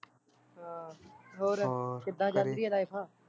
ਹਾਂ ਹੋਰ ਕਿੱਦਾਂ ਚਲਦੀ ਆ life